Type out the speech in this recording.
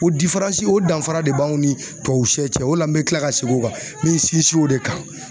O o danfara de b'anw ni tuwawu se cɛ o de la n be kila ka segin o kan n be sinsin o de kan.